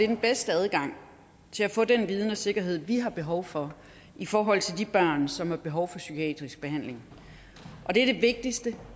den bedste adgang til at få den viden og sikkerhed vi har behov for i forhold til de børn som har behov for psykiatrisk behandling og det er det vigtigste